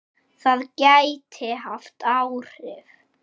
Það gæti haft áhrif.